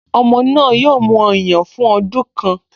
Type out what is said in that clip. Ọmọ náà yóò mu ọyàn fún ọdún kan